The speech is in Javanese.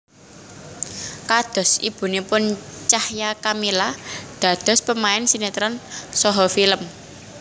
Kados ibunipun Cahya Kamila dados pemain sinétron saha film